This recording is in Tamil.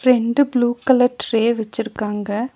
ரெண்டு ப்ளூ கலர் ட்ரே வெச்சிருக்கங்க.